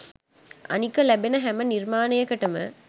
අනික ලැබෙන හැම නිර්මාණයකටම